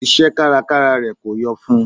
Iṣẹ́ kárakára rẹ̀ kò yọ fún n.